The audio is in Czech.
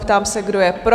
Ptám se, kdo je pro?